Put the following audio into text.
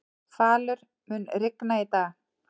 Falur, mun rigna í dag?